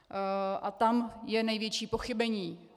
A tam je největší pochybení.